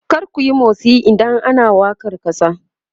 kar kuyi motsi idan ana wakar kasa!